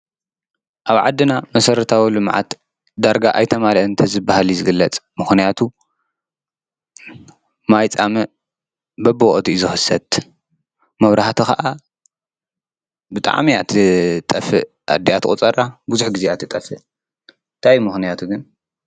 አብ ዓድና መሰረታዊ ልምዓት ዳርጋ አይተማለእን እንተዝባሃል እዩ ዝግለፅ። ምክንያቱ ማይ ፃምእ በቢወቅቱ እዩ ዝኽሰት፣ መብራህቲ ከዓ ብጣዕሚ እያትጠፍእ አዲአ ትቁፀራ፣ ቡዝሕ ግዜ እያ ትጠፈእ። እንታይ እዩ ምክንያቱ ግን?